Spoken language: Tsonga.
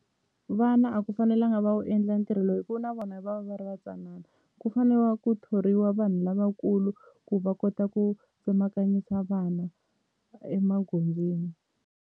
Vana a ku fanelanga va wu endla ntirho lowu hikuva na vona va va va ri va ntsanana ku fane ku thoriwa vanhu lavakulu ku va kota ku tsemakanyisa vana emagondzweni.